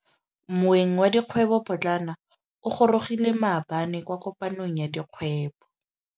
Moêng wa dikgwêbô pôtlana o gorogile maabane kwa kopanong ya dikgwêbô.